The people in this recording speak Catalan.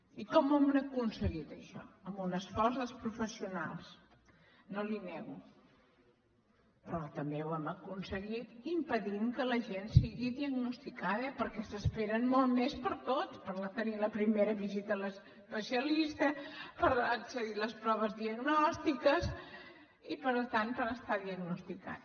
i com ho hem aconseguit això amb un esforç dels professionals no li ho nego però també ho hem aconseguit impedint que la gent sigui diagnosticada perquè s’esperen molt més per a tot per tenir la primera visita a l’especialista per accedir a les proves diagnòstiques i per tant per estar diagnosticats